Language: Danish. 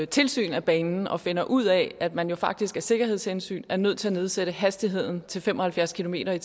tilsyn af banen og finder ud af at man faktisk af sikkerhedshensyn er nødt til at nedsætte hastigheden til fem og halvfjerds kilometer